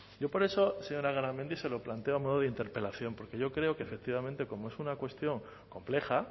yo por eso señora garamendi se lo planteo a modo de interpelación porque yo creo que efectivamente como es una cuestión compleja